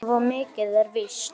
Svo mikið er víst